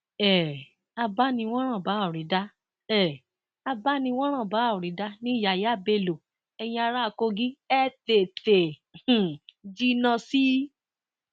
um abániwòranbáòrídà um abániwòranbáòrídà ni yàyà bello eyín ará kogi ẹ tètè um jinná sí i